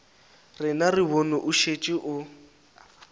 rena re bone o šetše